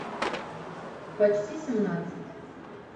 почти семнадцать